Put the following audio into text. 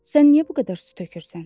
Sən niyə bu qədər su tökürsən?